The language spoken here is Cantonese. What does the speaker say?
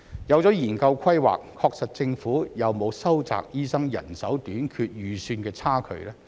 有了研究規劃，確實政府有沒有收窄醫生人手短缺預算的差距？